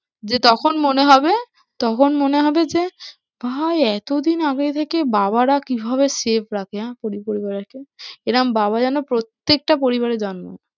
যে তখন মনে হবে তখন মনে হবে যে ভাই এতোদিন আগে থেকে বাবারা কিভাবে safe রাখে হ্যাঁ পরিবারকে? এরম বাবা যেন প্রত্যেকটা পরিবারে জন্মায়।